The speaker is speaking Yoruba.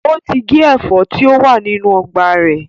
Ó ti gé ẹ̀fọ́ tí ó wà nínú ọgbà rẹ̀